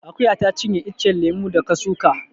Akuya ta cinye iccen lemo da ka suka